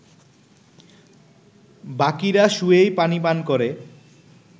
বাকীরা শুয়েই পানি পান করে